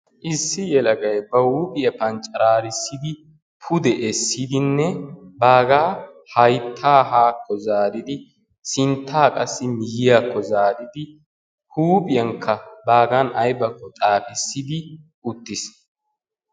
Issi yelagay ba huuphiya panccaraarissidi pude essidinne baagaa hayttaa haakko zaaridi sinttaa qassi miyyiyakko zaaridi huuphiyankka baagan aybakko xaafissidi uttiis.